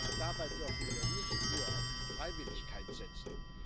Und dabei dürfen wir nicht nur auf Freiwilligkeit setzen.